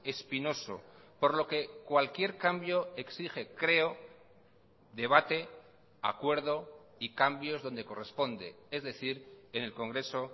espinoso por lo que cualquier cambio exige creo debate acuerdo y cambios donde corresponde es decir en el congreso